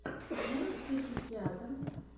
ты можешь включить театр